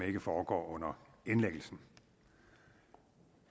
ikke foregår under indlæggelsen